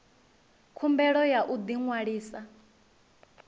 khumbelo ya u ḓi ṅwalisa